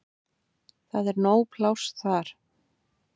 Það er nóg pláss þar.